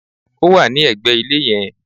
Ó wà ní ẹ̀gbẹ̀ ilé yen